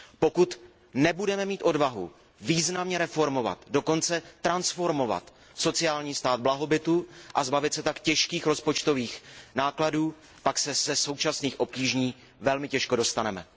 Pokud nebudeme mít odvahu významně reformovat, dokonce transformovat sociální stát blahobytu, a zbavit se tak těžkých rozpočtových nákladů, pak se ze současných obtíží velmi těžko dostaneme.